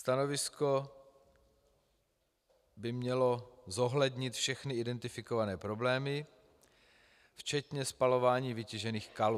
Stanovisko by mělo zohlednit všechny identifikované problémy, včetně spalování vytěžených kalů.